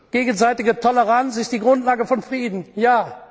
ja! Gegenseitige Toleranz ist die Grundlage von Frieden